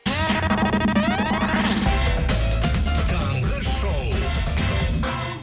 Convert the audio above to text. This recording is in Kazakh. таңғы шоу